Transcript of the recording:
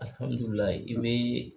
i bɛ